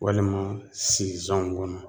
Walima sizanw kɔnɔ